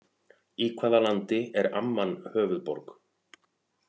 Í hvaða landi er Amman höfuðborg?